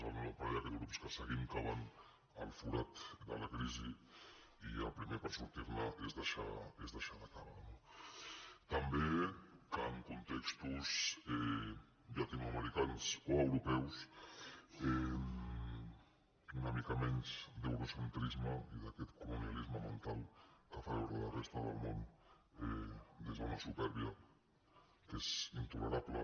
el pa·rell aquest de grups que seguim que van al forat de la crisi i el primer per sortir·ne és deixar de cavar no també que en contextos llatinoamericans o europeus una mica menys d’eurocentrisme i d’aquest colonialis·me mental que fa veure la resta del món des d’una su·pèrbia que és intolerable